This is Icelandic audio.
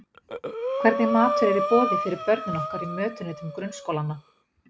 Hvernig matur er í boði fyrir börnin okkar í mötuneytum grunnskólanna?